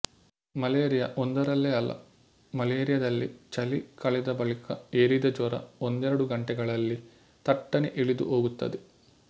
malaria ಒಂದರಲ್ಲೆ ಅಲ್ಲ ಮಲೇರಿಯದಲ್ಲಿ ಚಳಿ ಕಳೆದ ಬಳಿಕ ಏರಿದ ಜ್ವರ ಒಂದೆರಡು ಗಂಟೆಗಳಲ್ಲಿ ಥಟ್ಟನೆ ಇಳಿದು ಹೋಗುತ್ತದೆ